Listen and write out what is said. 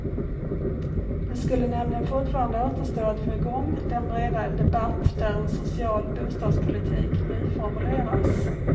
Det skulle nämligen fortfarande återstå att få igång den breda debatt där en social bostadspolitik nyformuleras.